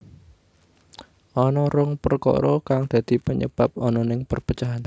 Ana rong perkara kang dadi penyebab ananing perpecahan